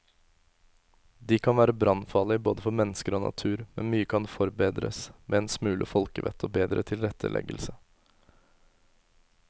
De kan være brannfarlige både for mennesker og natur, men mye kan forbedres med en smule folkevett og bedre tilretteleggelse.